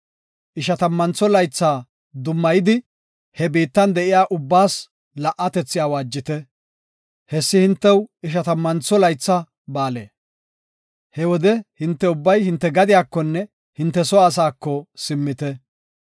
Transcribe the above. Ishatammantho laytha dummayidi, he biittan de7iya ubbaas la77atethi awaajite. Hessi hintew Ishatammantho Laytha Ba7aale. He wode hinte ubbay hinte gadiyakonne hinte soo asaako simmite.